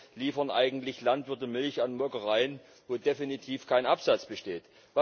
Warum liefern eigentlich Landwirte Milch an Molkereien, wo definitiv kein Absatz besteht?